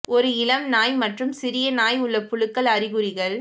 ஒரு இளம் நாய் மற்றும் சிறிய நாய் உள்ள புழுக்கள் அறிகுறிகள்